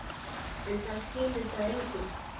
En það skilur það enginn.